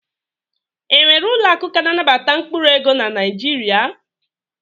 E nwere ụlọakụ ka na-anabata mkpụrụ ego na Naijiria?